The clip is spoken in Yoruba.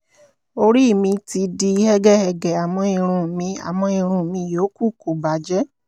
orí mi ti di hẹ́gẹhẹ̀gẹ àmọ́ irun mi àmọ́ irun mi yòókù kò bàjẹ́